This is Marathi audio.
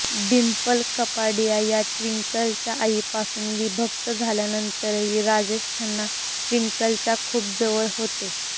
डिंपल कपाडिया या ट्विंकलच्या आईपासून विभक्त झाल्यानंतरही राजेश खन्ना ट्विंकलच्या खूप जवळ होते